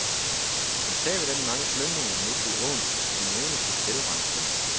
Med tabet af de mange slyngninger mistede åen sin evne til selvrensning.